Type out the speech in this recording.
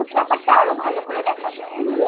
সবুজ ব্যাপারটা আরও ভালো করে দেখা যায় আর কি